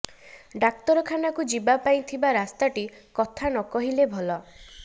ଡାକ୍ତରଖାନାକୁ ଯିବା ପାଇଁ ଥିବା ରାସ୍ତାଟି କଥା ନ କହିଲେ ଭଲ